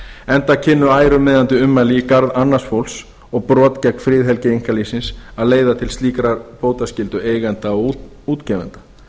enda kynnu ærumeiðandi ummæli í garð annars fólks og brot gegn friðhelgi einkalífsins að leiða til slíkrar bótaskyldu eigenda og útgefenda